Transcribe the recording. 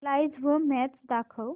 live match दाखव